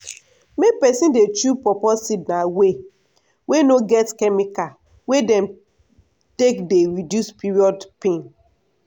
make peson dey chew pawpaw seed na way wey no get chemical wey dem take dey reduce period pain.